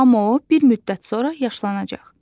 Amma o bir müddət sonra yaşlanacaq.